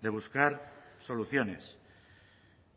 de buscar soluciones